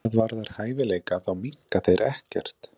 Hvað varðar hæfileika þá minnka þeir ekkert.